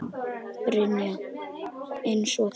Brynja: Eins og hvað?